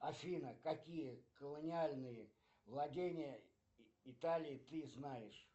афина какие колониальные владения италии ты знаешь